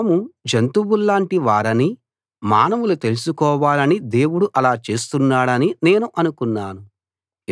తాము జంతువుల్లాటి వారని మానవులు తెలుసుకోవాలని దేవుడు అలా చేస్తున్నాడని నేను అనుకున్నాను